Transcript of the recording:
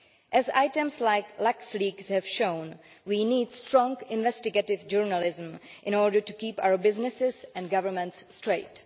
As cases like LuxLeaks' have shown, we need strong investigative journalism in order to keep our businesses and governments straight.